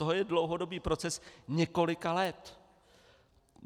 To je dlouhodobý proces několika let.